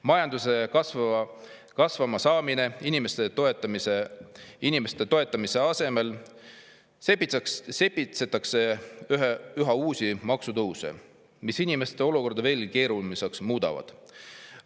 Majanduse kasvama saamise ja inimeste toetamise asemel sepitsetakse üha uusi maksutõuse, mis inimeste olukorda veelgi keerulisemaks muudavad.